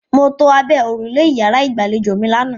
Mo to abẹ́ òrùlé ìyàrá-ìgbàlejò mi lánàá.